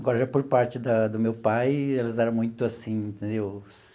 Agora, por parte da do meu pai, eles eram muito, assim, entendeu?